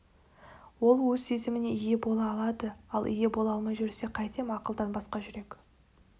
ол өз сезіміне өзі ие бола алады ал ие бола алмай жүрсе қайтем ақылдан басқа жүрек